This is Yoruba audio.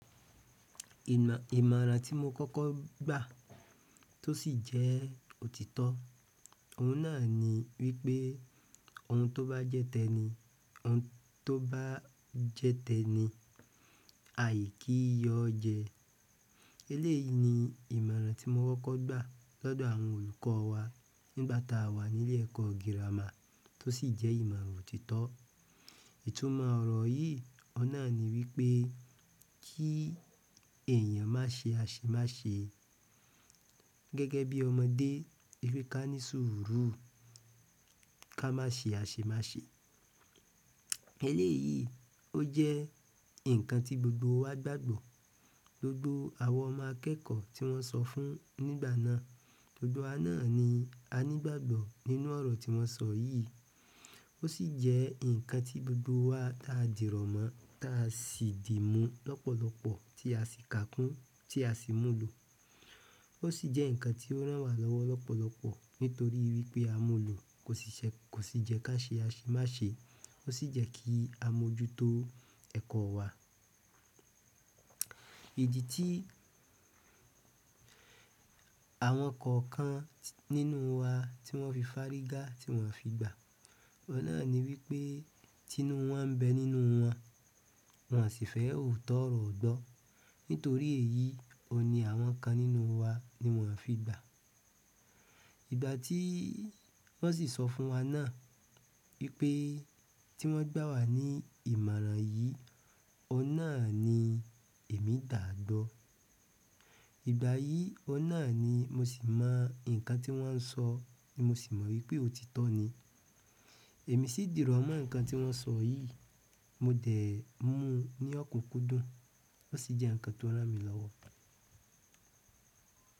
Ìmọ̀ràn tí mo kọ́kọ́ gbà tó sì jẹ́ òtítọ́, òun náà ni wípé ohun tó bá jẹ́ tẹni, ohun tó bá jẹ́ tẹni aìkíyọ jẹ. Eléyìí ni ìmọ̀ràn ti mo kọ́kọ́ gba l'ọdọ àwọn olùkọ́ wa nígbà ta wà ni ile ẹkọ gírámà to si jẹ ìmọ̀ràn òtítọ́ itumọ ọ̀rọ̀ yìí, oun nà ni wípé kí èèyàn má ṣe àṣemáṣe gẹ́gẹ́ bí ọmọdé, wípé ká ní ṣùúrù, ká má ṣe àṣemáṣe. Eléyìí ó jẹ́ nǹkan tí gbogbo wa gbàgbọ́. Gbogbo àwa ọmọ akẹẹkọ ti wọn sọ fún nígbà náà, gbogbo wa na ni a ni ìgbàgbọ́ nínú ọrọ ti wọn sọ yi. Ó sì jẹ́ nǹkan tí gbogbo wa di rọ̀mọ́, tá a sì di mú lọ́pọ̀lọpọ̀ tí a sì ká kún, tí a sì múlò. Ó sì jẹ́ nǹkan tí ó rán wa lọ́wọ́ lọ́pọ̀lọpọ̀ nítorí wípé a múlò, kò sì ṣe, kò sì jẹ́ ká ṣe àṣemáṣe, ó sì jẹ́ kí a mójútó ẹ̀kọ́ wa. Idi tí àwọn kọ̀ọ̀kan nínú wa tí wọ́n fi fárígá, tí wọ́n fi gbà, oun nà ni wípé tí inú wọn ń bẹ nínú wọn, wọn sì fẹ́ òótọ́ ọ̀rọ̀ gbọ. Nítorí èyí oun ni àwọn kan nínú wa ni wọ́n fi gbà. Ìgbà tí wọ́n sì sọ fún wa náà wípé tí wọ́n gbà wà ní ìmọ̀ràn yìí, oun nà ni èmi gba gbọ̀. Ìgbà yìí oun nà ni mo sì mọ nǹkan tí wọ́n ń sọ, mo sì mọ wípé òtítọ́ ni. Emi si dirọmọ nkan ti wọn sọ yi, mo dẹ mu ni ọkunkun dùn, o si jẹ nkan to ranmi lọwọ.